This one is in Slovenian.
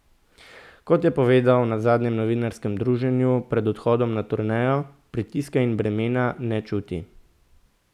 Kot je povedal na zadnjem novinarskem druženju pred odhodom na turnejo, pritiska in bremena ne čuti.